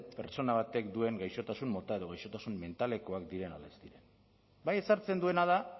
pertsona batek duen gaixotasun mota edo gaixotasun mentalekoak diren edo ez diren bai ezartzen duena da